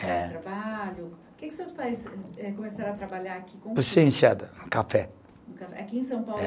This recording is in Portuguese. Trabalho, que que os seus pais eh, começaram a trabalhar aqui. Sim, enxada, café. Café, aqui em São Paulo.